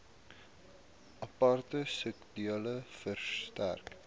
aparte skedule verstrek